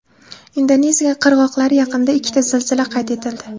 Indoneziya qirg‘oqlari yaqinida ikkita zilzila qayd etildi.